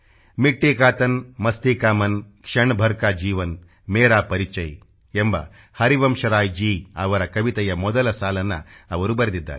ಮಿಟ್ಟಿಕಾ ತನ್ ಮಸ್ತಿ ಕಾ ಮನ್ ಕ್ಷಣಭರ್ ಕಾ ಜೀವನ್ ಮೇರಾ ಪರಿಚಯ ಎಂಬ ಹರಿವಂಶರಾಯ್ಜೀ ಅವರ ಕವಿತೆಯ ಮೊದಲ ಸಾಲನ್ನ ಅವರು ಬರೆದಿದ್ದಾರೆ